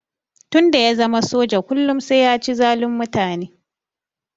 Tun da ya zama soja kullum sai ya ci zalun mutane.